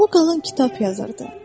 Bu qalan kitab yazırdı.